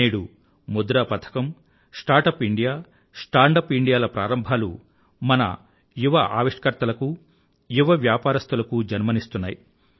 నేడు ముద్రా పథకం startup India stand up India ల ప్రారంభాలు మన యువ ఆవిష్కారులకూ యువ వ్యాపారస్తులకూ జన్మనిస్తున్నాయి